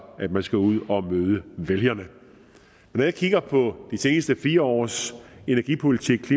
at man skal ud og møde vælgerne når jeg kigger på de sidste fire års energipolitik